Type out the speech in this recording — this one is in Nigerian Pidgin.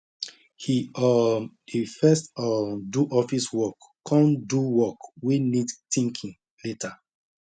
he um dey first um do office work con do work wey need thinking later